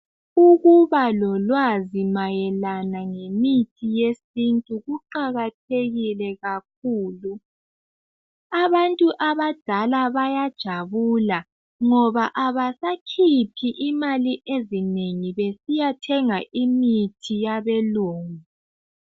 Ukuba lolwazi mayelana ngemithi yesintu kuqakathekile kakhulu, abantu abadala bayajabula ngoba abasakhiphi imali ezinengi besiyathenga imithi yabelungu.